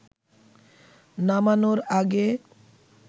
নামানোর আগে